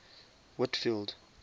whitfield